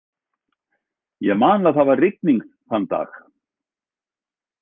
Ég man að það var rigning þann dag.